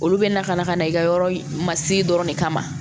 Olu bɛ na ka na ka na i ka yɔrɔ masiri dɔrɔn de kama